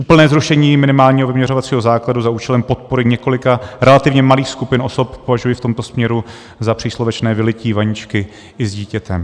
Úplné zrušení minimálního vyměřovacího základu za účelem podpory několika relativně malých skupin osob považuji v tomto směru za příslovečné vylití vaničky i s dítětem